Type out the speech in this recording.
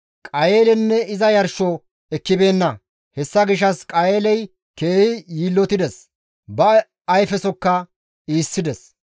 Qayeelenne iza yarsho ekkibeenna; hessa gishshas Qayeeley keehi yiillotides; ba ayfesokka iissides.